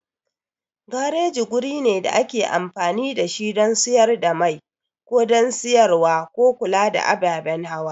Gareji guri ne da ake amfani da shi don siyar da mai ko don siyarwa ko kula da ababen hawa.